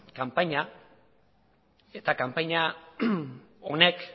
kanpaina eta kanpaina honek